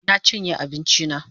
Na chinye abinchi na